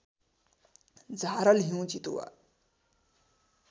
झारल हिउँ चितुवा